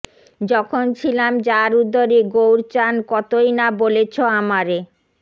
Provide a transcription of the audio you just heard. যখন ছিলাম যার উদরে গৌরচান কতই না বলেছ আমারে